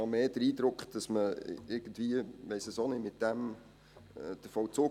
Ich habe mehr den Eindruck, dass man hiermit vielleicht den Vollzug erschweren will.